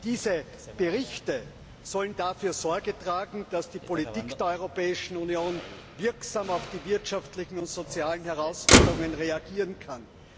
Diese Berichte sollen dafür Sorge tragen, dass die Politik der Europäischen Union wirksam auf die wirtschaftlichen und sozialen Herausforderungen reagieren kann.